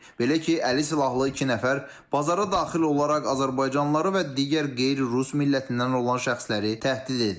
Belə ki, əli silahlı iki nəfər bazara daxil olaraq azərbaycanlıları və digər qeyri-rus millətindən olan şəxsləri təhdid ediblər.